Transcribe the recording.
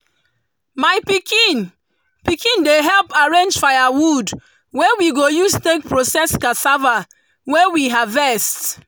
my pikin pikin dey help arrange firewood wey we go use take process cassava wey we harvest.